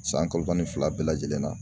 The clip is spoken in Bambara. San kalo tan ni fila bɛɛ lajɛlen na